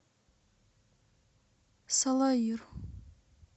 салаир